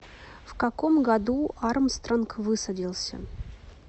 в каком году армстронг высадился